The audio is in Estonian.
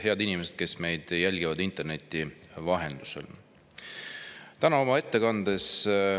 Head inimesed, kes jälgivad meid interneti vahendusel!